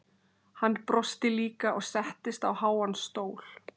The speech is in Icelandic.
Hann brosti líka og settist á háan stól.